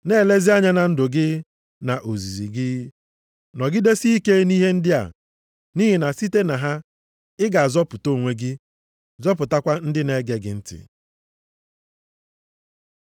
Na-elezi anya na ndụ gị, na ozizi gị. Nọgidesie ike nʼihe ndị a nʼihi na site na ha, ị ga-azọpụta onwe gị, zọpụtakwa ndị na-ege gị ntị.